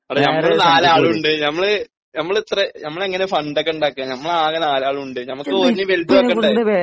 എടാ നമ്മള് നാല് ആളുമുണ്ട് നമ്മള് നമ്മള് ഇത്ര നമ്മള് എങ്ങനെ ഫണ്ടൊക്കെ ഉണ്ടാക്കാ ? നമ്മള് ആകെ നാല് ആളുണ്ട് നമുക്ക് ഓലിലും എനിയും വലുതാക്കണ്ടേ ?